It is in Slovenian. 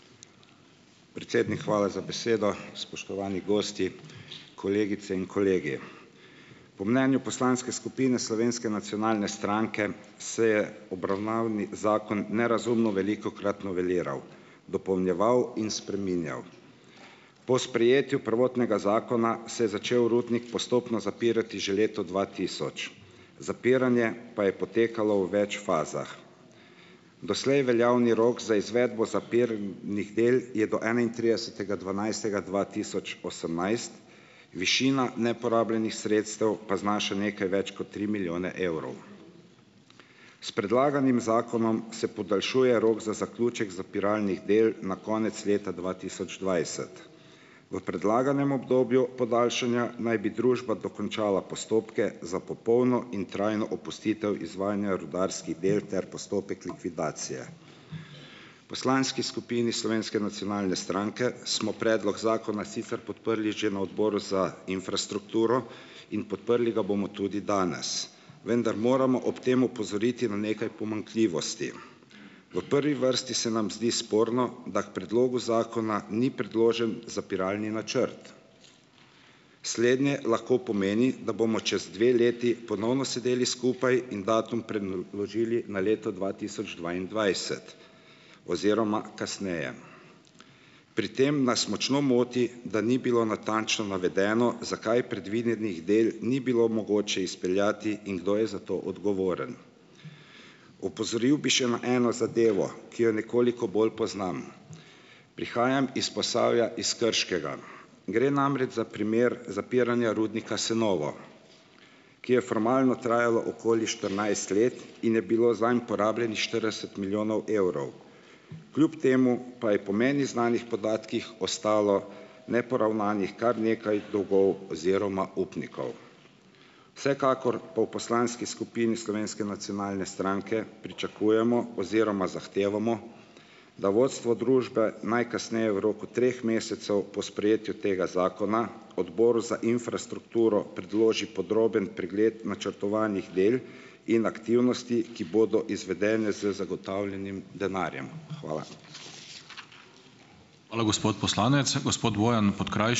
Predsednik, hvala za besedo. Spoštovani gosti, kolegice in kolegi. Po mnenju poslanske skupine Slovenske nacionalne stranke se je obravnavni zakon nerazumno velikokrat noveliral, dopolnjeval in spreminjal. Po sprejetju prvotnega zakona se je začel rudnik postopno zapirati že leta dva tisoč. Zapiranje pa je potekalo v več fazah. Doslej veljavni rok za izvedbo zapiralnih del je do enaintridesetega dvanajstega dva tisoč osemnajst, višina neporabljenih sredstev pa znaša nekaj več kot tri milijone evrov. S predlaganim zakonom se podaljšuje rok za zaključek zapiralnih del na konec leta dva tisoč dvajset. V predlaganem obdobju podaljšanja naj bi družba dokončala postopke za popolno in trajno opustitev izvajanja rudarskih del ter postopek likvidacije. Poslanski skupini Slovenske nacionalne stranke smo predlog zakona sicer podprli že na odboru za infrastrukturo in podprli ga bomo tudi danes, vendar moramo ob tem opozoriti na nekaj pomanjkljivosti. V prvi vrsti se nam zdi sporno, da k predlogu zakona ni predložen zapiralni načrt. Slednje lahko pomeni, da bomo čez dve leti ponovno sedeli skupaj in datum preložili na leto dva tisoč dvaindvajset oziroma kasneje. Pri tem nas močno moti, da ni bilo natančno navedeno, zakaj predvidenih del ni bilo mogoče izpeljati in kdo je za to odgovoren. Opozoril bi še na eno zadevo, ki jo nekoliko bolj poznam. Prihajam iz Posavja, iz Krškega. Gre namreč za primer zapiranja rudnika Senovo, ki je formalno trajalo okoli štirinajst let in je bilo zanj porabljenih štirideset milijonov evrov. Kljub temu pa je po meni znanih podatkih ostalo neporavnanih kar nekaj dolgov oziroma upnikov. Vsekakor pa v poslanski skupini Slovenske nacionalne stranke pričakujemo oziroma zahtevamo, da vodstvo družbe najkasneje v roku treh mesecev po sprejetju tega zakona Odboru za infrastrukturo predloži podroben pregled načrtovanih del in aktivnosti, ki bodo izvedene z zagotovljenim denarjem. Hvala.